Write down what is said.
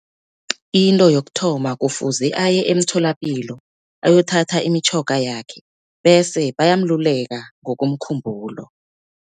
Into yokuthoma kufuze aye emtholapilo ayothatha imitjhoga yakhe, bese bayamluleka ngokomkhumbulo.